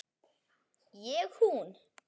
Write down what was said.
Ég hún.